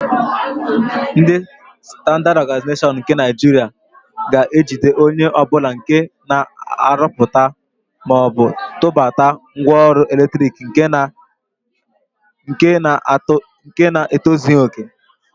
Ndị Standaad Ọganaịzeshọn nke Naịjiria ga-ejide onye ọbụla nke na-arụpụta maọbụ tụbata ngwaọrụ eletrik nke na-etozighi òkè.